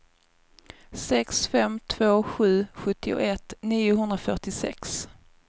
sex fem två sju sjuttioett niohundrafyrtiosex